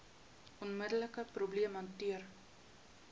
onmiddelike probleem hanteer